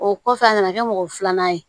O kɔfɛ a nana kɛ mɔgɔ filanan ye